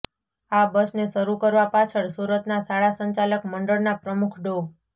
આ બસને શરૂ કરવા પાછળ સુરતના શાળા સંચાલક મંડળના પ્રમુખ ડો